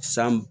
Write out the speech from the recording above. San